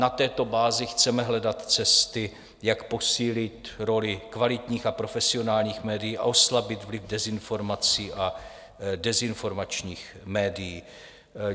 Na této bázi chceme hledat cesty, jak posílit roli kvalitních a profesionálních médií a oslabit vliv dezinformací a dezinformačních médií.